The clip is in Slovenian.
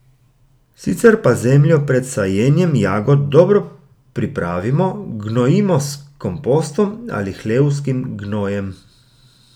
Sicer pa zemljo pred sajenjem jagod dobro pripravimo, gnojimo s kompostom ali hlevskim gnojem.